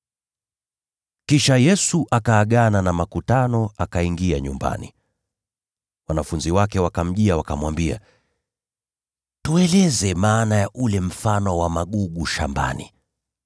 Kisha Yesu akaagana na makutano, akaingia nyumbani. Wanafunzi wake wakamjia wakamwambia, “Tueleze maana ya ule mfano wa magugu shambani.”